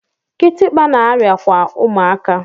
Kitikpa na-arịa kwa ụmụaka.